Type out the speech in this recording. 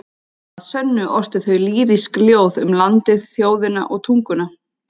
Að sönnu ortu þau lýrísk ljóð um landið, þjóðina og tunguna.